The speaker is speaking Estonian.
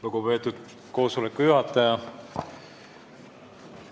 Lugupeetud koosoleku juhataja!